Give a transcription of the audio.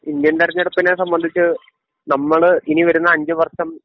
Indian തെരഞ്ഞെടുപ്പിനെ സംബന്ധിച്ച് നമ്മള് ഇനിവരുന്ന അഞ്ചുവർഷം